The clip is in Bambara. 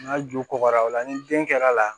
N'a ju kɔgɔra ola ni den kɛr'a la